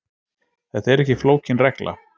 Þetta er ekki flókin regla